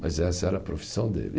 Mas essa era a profissão dele.